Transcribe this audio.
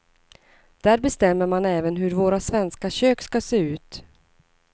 Där bestämmer man även hur våra svenska kök ska se ut.